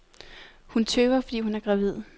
Hun tøver, fordi hun er gravid.